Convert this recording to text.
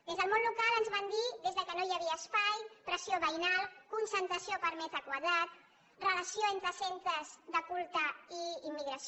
des del món local ens van dir des que no hi havia espai pressió veïnal concentració per metre quadrat relació entre centres de culte i immigració